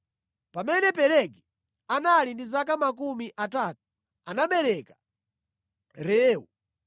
Pamene Pelegi anali ndi zaka makumi atatu, anabereka Reu.